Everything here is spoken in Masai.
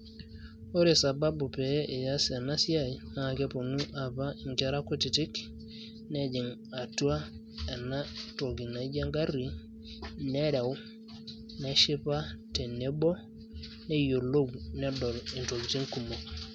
Ore sababu pe iyas enasiai, na keponu apa inkera kutitik, nejing' atua ena toki na ijo egarri, nereu, neshipa tenebo, neyielou nedol intokiting' kumok.